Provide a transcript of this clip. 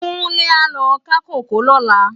Kunle á lò ká kókòó lòlá